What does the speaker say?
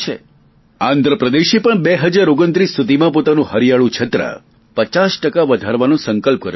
આંધ્રપદેશે પણ પોતાનું હરિયાળું છત્ર ગ્રીન કવર પચાસ ટકા વધારવાનો સંકલ્પ કર્યો છે